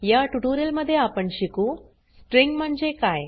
या ट्यूटोरियल मध्ये आपण शिकू स्ट्रिंग म्हणजे काय